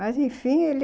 Mas, enfim, ele...